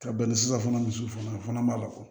Ka bɛn ni sisan fana misi fana ma ko